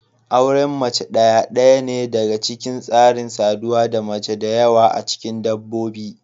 Auren mace ɗaya ɗaya ne daga cikin tsarin saduwa da mace da yawa a cikin dabbobi.